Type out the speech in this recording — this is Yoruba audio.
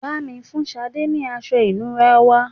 Bá mi fun Sade ni aṣọ ìnura wá